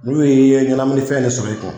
N'u ye ye ɲɛnaminifɛn nin sɔrɔ, i kun